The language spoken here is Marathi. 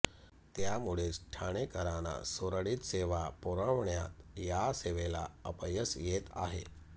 त्यामुळेच ठाणेकरांना सुरळीत सेवा पुरवण्यात या सेवेला अपयश येत आहे